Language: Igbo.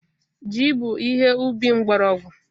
Ji bụ ihe ubi mgbọrọgwụ.